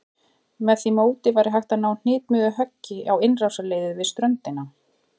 Með því móti væri hægt að ná hnitmiðuðu höggi á innrásarliðið við ströndina.